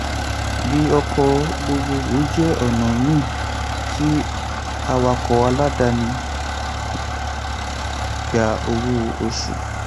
di ọkọ̀ gbogbogbò jẹ́ ọ̀nà míì tí awakọ̀ aláàdáni gbà owó oṣù.